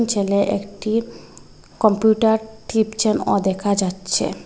ছেলে একটি কম্পিউটার টিপচেন ও দেখা যাচ্ছে।